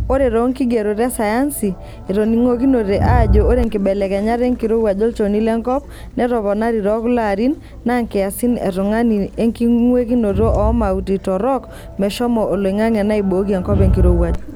Ore toonkigerot esayansi, etoning'okinote ajo ore nkibelekenyat enkirowuaj olchoni lenkop netoponari tekuloarin naa nkiasin e tung'ani enking'wekinoto oo mauti torok meshomo oloing'ang'e neibooki enkop enkirowuaj.[long sentence]